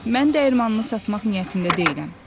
Mən dəyirmanımı satmaq niyyətində deyiləm.